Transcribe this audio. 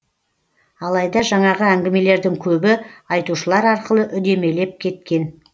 алайда жаңағы әңгімелердің көбі айтушылар арқылы үдемелеп кеткен